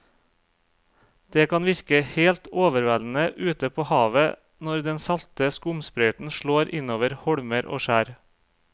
Det kan virke helt overveldende ute ved havet når den salte skumsprøyten slår innover holmer og skjær.